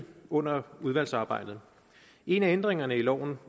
under udvalgsarbejdet en af ændringerne i loven